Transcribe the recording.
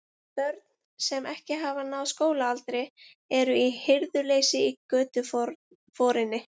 Börn, sem ekki hafa náð skólaaldri, eru í hirðuleysi í götuforinni.